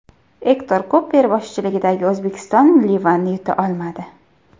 Ektor Kuper boshchiligidagi O‘zbekiston Livanni yuta olmadi.